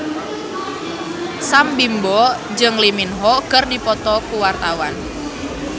Sam Bimbo jeung Lee Min Ho keur dipoto ku wartawan